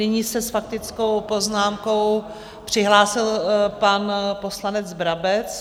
Nyní se s faktickou poznámkou přihlásil pan poslanec Brabec.